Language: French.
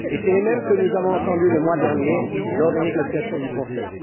Les mêmes que nous avons entendus le mois dernier lors des négociations du Conseil.